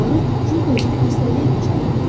Uşaqlari cürbəcür xəstəliyə düçar edir.